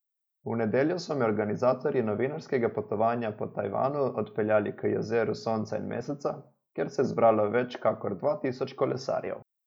V nedeljo so me organizatorji novinarskega potovanja po Tajvanu odpeljali k Jezeru sonca in meseca, kjer se je zbralo več kakor dva tisoč kolesarjev.